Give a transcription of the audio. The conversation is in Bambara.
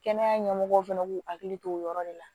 Kɛnɛya ɲɛmɔgɔw fana k'u hakili to o yɔrɔ de la